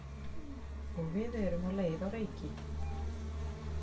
Og við erum á leið á Reyki.